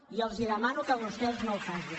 i els demano que vostès no ho facin